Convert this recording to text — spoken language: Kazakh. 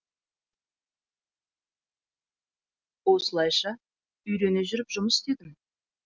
осылайша үйрене жүріп жұмыс істедім